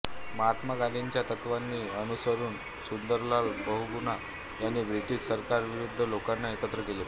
महात्मा गांधींच्या तत्त्वांना अनुसरून सुंदरलाल बहुगुणा यांनी ब्रिटिश सरकारविरुद्ध लोकांना एकत्र केले